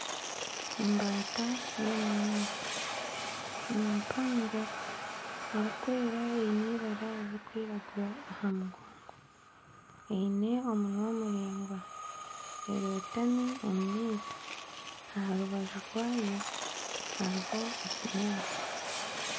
Embaata y'omu maizi, ni mpango erikwera eine ibara riri kwiragura rihango. Eine omunwa muringwa, erotami omu maizi. Aha rubaju rwayo hariho ekinyaatsi.